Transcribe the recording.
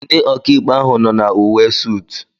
Ndị ọkàikpe ahụ nọ na uwe sút